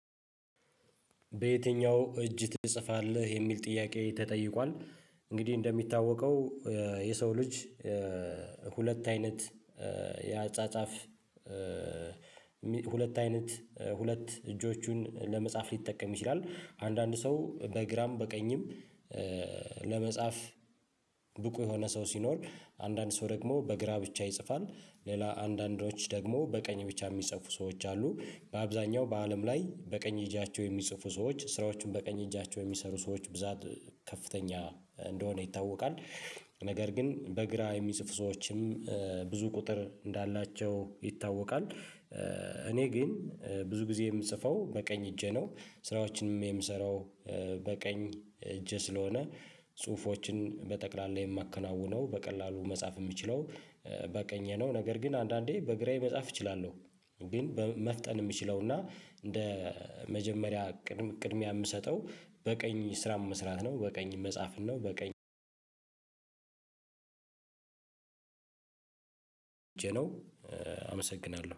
በዬትኛው እጅ ትጽፋለህ? የሚል ጥያቄ ተጠይቋል እንግዲህ እንደሚታወቀው የሰው ልጅ ሁለት አይነት የ አጻጻፍ ሁለት አይነት ሁለት እጆቹን ለመጻፍ ሊጠቀም ይችላል አንዳንድ ሰው በግራም በቀኝም ለመጻፍ ብቁ የሆነ ሰው ሲኖር አንዳንድ ሰው ደግሞ በግራ ብቻ ይጽፋል። ሌላ አንዳንዶች ደግሞ በቀኝ ብቻ የሚጽፉ ሰዎች አሉ። በአብዛኛው በአለም ላይ በቀኝ አጃቸው የሚጽፉ ሰዎች ስራዎችን በቀኝ እጃቸው የሚሰሩ ሰዎች ብዛት ከፍተኛ እንደሆነ ይታወቃል። ነገር ግን በግራ የሚጽፉ ሰዎችም ብዙ ቁጥር እንዳላቸው ይታወቃል። እኔ ግን ብዙ ጊዜ የምጽፈው በቀኝ እጄ ነው። ስራዎችንም የምሰራው በቀኝ እጄ ስለሆነ ጽሁፎችን በጠቅላላ የማከናውነው በቀላሉ መጻፍ የምችለው በቀኝ ነው። ነገር ግን አንዳንዴ በግራዬ መጻፍ እችላለሁ። ግን መፍጠን የምችለው እና እንደ መጀመሪያ ቅድሚያ የምሰጠው በቀኝ ስራ መስራት ነው። በቀኝ መጻፍን ነው በቀኝ ነው አመሰግናለሁ።